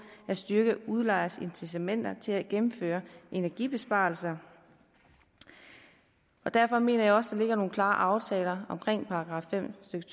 at styrke udlejers incitamenter til at gennemføre energibesparelser derfor mener jeg også at der ligger nogle klare aftaler om § fem stykke